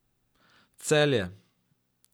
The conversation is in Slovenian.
Celje.